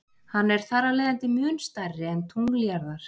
Hann er þarafleiðandi mun stærri en tungl jarðar.